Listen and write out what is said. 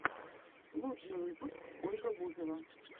лучший выпуск ольга бузова